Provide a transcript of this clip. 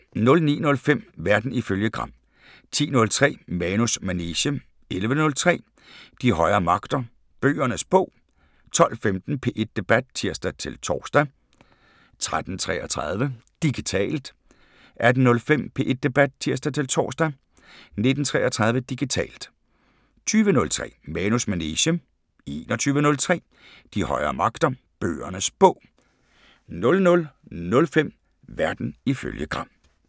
09:05: Verden ifølge Gram 10:03: Manus manege 11:03: De højere magter: Bøgernes bog 12:15: P1 Debat (tir-tor) 13:33: Digitalt 18:05: P1 Debat (tir-tor) 19:33: Digitalt 20:03: Manus manege 21:03: De højere magter: Bøgernes bog 00:05: Verden ifølge Gram